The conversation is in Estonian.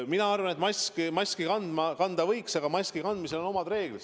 Mina arvan, et maski kanda võiks, aga maski kandmisel on omad reeglid.